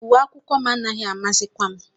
Uwe akwụkwọ m anaghị amasịkwa m